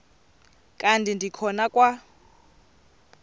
kanti ndikhonza kwa